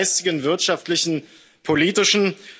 Der geistigen, wirtschaftlichen, politischen.,